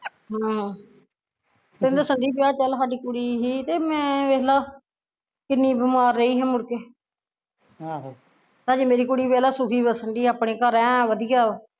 ਹਾਂ ਤੈਨੂੰ ਦੱਸਣ ਡਈ ਵੀ ਆ ਚੱਲ ਸਾਡੀ ਕੁੜੀ ਸੀ ਤੇ ਮੈਂ ਵੇਖਲਾ ਕਿੰਨੀ ਬਿਮਾਰ ਰਹੀ ਸਾ ਮੁੜ ਕੇ ਹਜੇ ਮੇਰੀ ਕੁੜੀ ਵੇਖਲਾ ਸੁਖੀ ਬਸਣ ਡਈ ਆਪਣੇ ਘਰ, ਐ ਨੂੰ ਵਧੀਆ ਵਾ